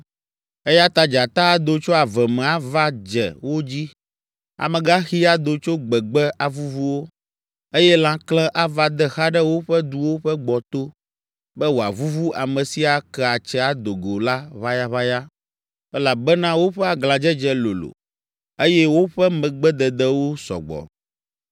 Eya ta dzata ado tso ave me ava dze wo dzi, amegaxi ado tso gbegbe avuvu wo, eye lãkle ava de xa ɖe woƒe duwo ƒe gbɔto, be wòavuvu ame si ake atse ado go la ʋayaʋaya, elabena woƒe aglãdzedze lolo, eye woƒe megbededewo sɔ gbɔ.